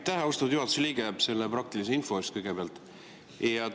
Aitäh, austatud juhatuse liige, selle praktilise info eest kõigepealt!